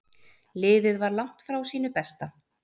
Liðið var langt frá sínu besta.